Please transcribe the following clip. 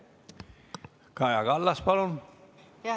Kaja Kallas, palun!